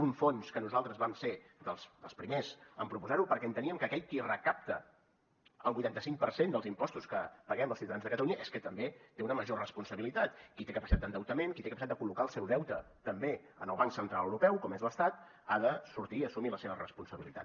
un fons que nosaltres vam ser dels primers en proposarho perquè enteníem que aquell qui recapta el vuitanta cinc per cent dels impostos que paguem els ciutadans de catalunya és que també té una major responsabilitat qui té capacitat d’endeutament qui té capacitat de col·locar el seu deute també en el banc central europeu com és l’estat ha de sortir i assumir la seva responsabilitat